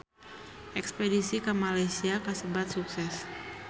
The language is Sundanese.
Espedisi ka Malaysia kasebat sukses